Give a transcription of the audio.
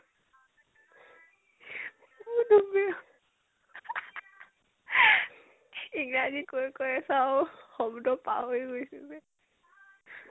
ম্ধুমেয় ইংৰাজী কৈ কৈ চব শব্দ পাহৰি গৈছোগে